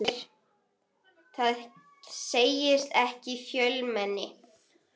JÓN BEYKIR: Það segist ekki í fjölmenni.